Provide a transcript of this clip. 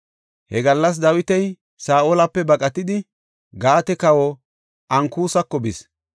He gallas Dawiti Saa7olape baqatidi, Gaate kawa Ankusako bis.